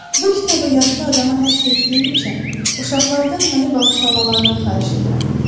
Bu kitabı yaşlı adama həsr etdiyim üçün uşaqlardan məni bağışlamalarını xahiş edirəm.